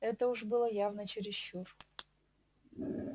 это уж было явно чересчур